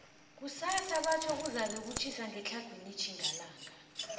kusasa batjho kuzabe kutjhisa ngetlhagwini tjhingalanga